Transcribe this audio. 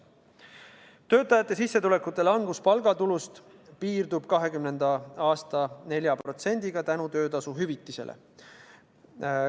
Töötajate sissetulekute langus palgatulust piirdub 2020. aastal 4%-ga tänu töötasuhüvitisele.